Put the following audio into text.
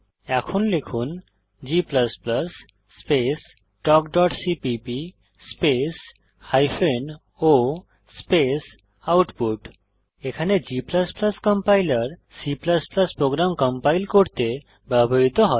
এখন লিখুন g space talkসিপিপি স্পেস হাইফেন o স্পেস আউটপুট এখানে g compiler C program compile করতে ব্যবহৃত হয়